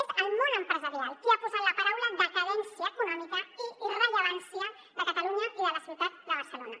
és el món empresarial qui ha posat la paraula decadència econòmica i irrellevància de catalunya i de la ciutat de barcelona